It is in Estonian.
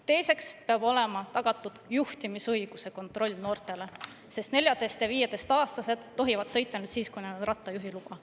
Teiseks peab olema tagatud juhtimisõiguse kontroll noortele, sest 14- ja 15‑aastased tohivad sõita ainult siis, kui neil on rattajuhiluba.